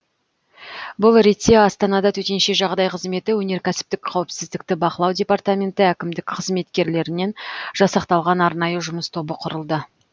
бұл ретте астанада төтенше жағдай қызметі өнеркәсіптік қауіпсіздікті бақылау департаменті әкімдік қызметкерлерінен жасақталған арнайы жұмыс тобы құрылды